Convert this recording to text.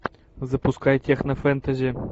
запускай технофэнтези